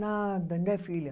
Nada, né, filha?